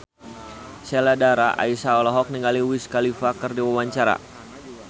Sheila Dara Aisha olohok ningali Wiz Khalifa keur diwawancara